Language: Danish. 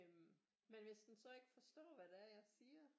Øh men hvis den så ikke forstår hvad det er jeg siger